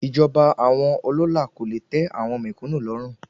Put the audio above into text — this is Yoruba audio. Ìjọba àwọn ọlọ́lá kò le tẹ́ àwọn mèkúnù lọ́rùn.